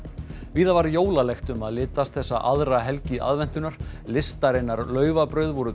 víða var jólalegt um að litast þessa aðra helgi aðventunnar listarinnar laufabrauð voru